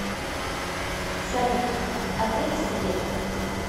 салют ответь сестре